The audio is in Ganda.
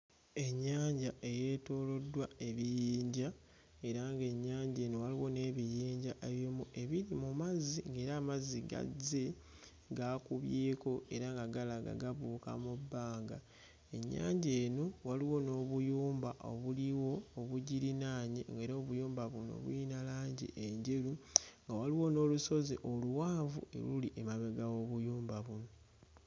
Ennyanja eyeetooloddwa ebiyinja era ng'ennyanja eno waliwo n'ebiyinja eby'omu ebiri mu mazzi ng'era amazzi gazzi gaakubyeko era nga galaga gabuuka mu bbanga ennyanja eno waliwo n'obuyumba obuliwo obugirinaanye ng'era obuyumba buno buyina langi enjeru nga waliwo n'olusozi oluwanvu eruli emabega w'obuyumba buno.